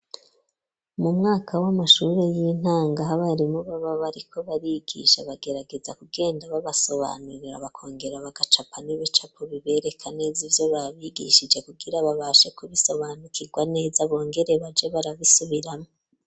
Mu mwaka w'amashuri y'intango aho abarimu baba bariko barigisha bagerageza kugenda babasobanurira bakongera bagacapa n'ibicapo bibereka neza ivyo babigishije kugira babashe kubisobanukirwa neza bongere baje barabisubiramwo.